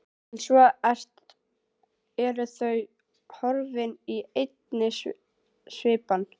En svo eru þau horfin í einni svipan.